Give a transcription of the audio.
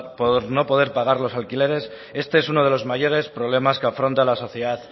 por no poder pagar los alquileres este es uno de los mayores problemas que afronta la sociedad